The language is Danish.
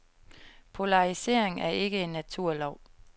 Polarisering er ikke en naturlov.